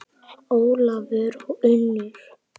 Ólafur og Unnur.